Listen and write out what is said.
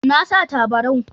Na sa tabarau.